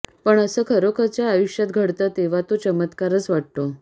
पण असं खरोखरच्या आयुष्यात घडतं तेव्हा तो चमत्कारच वाटतो